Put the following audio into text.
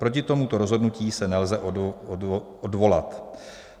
Proti tomuto rozhodnutí se nelze odvolat."